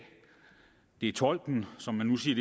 det tolken som man nu siger